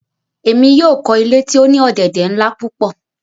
Emi yóò kọ ile ti o ni ọ̀dẹ̀dẹ̀ nla pupọ